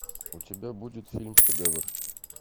у тебя будет фильм шедевр